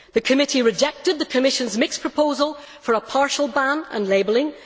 The committee rejected the Commission's mixed proposal for a partial ban and labelling